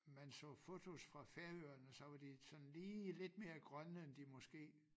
Man så fotos fra Færøerne så var de sådan lige lidt mere grønne end de måske